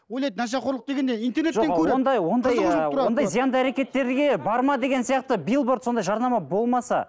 ойлайды нашақорлық деген не интернеттен көреді ондай зиянды әркеттерге бар ма деген сияқты бильборд сондай жарнама болмаса